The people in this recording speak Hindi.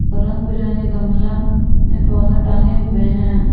रंग बिरंगे गमला में पौधा टांगे हुए हैं।